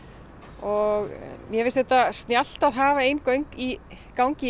og mér finnst þetta snjallt að hafa ein göng í gangi